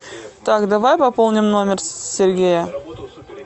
так давай пополним номер сергея